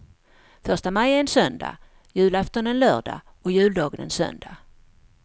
Första maj är en söndag, julafton en lördag och juldagen en söndag.